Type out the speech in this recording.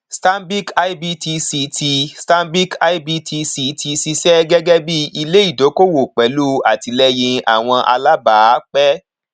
stanbic ibtc ti stanbic ibtc ti ṣiṣẹ gẹgẹ bí ilé ìdókòwò pẹlú àtìlẹyìn àwọn alábàápẹ